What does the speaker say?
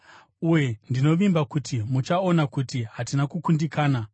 Uye ndinovimba kuti muchaona kuti hatina kukundikana.